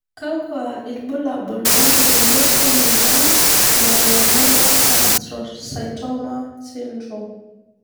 Kakwa ilbulabul opukunot emoyian Melanoma astrocytoma syndrome?